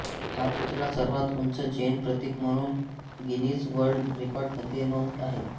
हा पुतळा सर्वात उंच जैन प्रतिक म्हणून गिनीज वर्ल्ड रेकॉर्ड मध्ये नोंद आहे